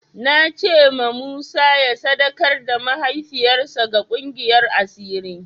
Na ce ma sani ya sadakar da mahaifiyar sa ga ƙungiyar asiri